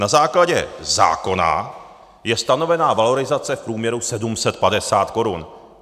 Na základě zákona je stanovena valorizace v průměru 750 korun.